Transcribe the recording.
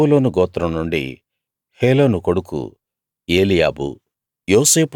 జెబూలూను గోత్రం నుండి హేలోను కొడుకు ఏలీయాబు